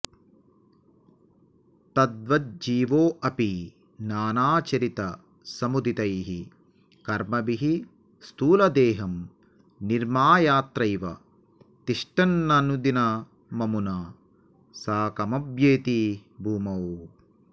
तद्वज्जीवोऽपि नानाचरितसमुदितैः कर्मभिः स्थूलदेहं निर्मायात्रैव तिष्ठन्ननुदिनममुना साकमभ्येति भूमौ